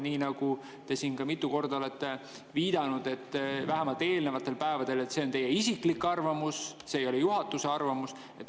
Veel kord, te siin mitu korda olete viidanud, vähemalt eelnevatel päevadel, et see on teie isiklik arvamus, see ei ole juhatuse arvamus.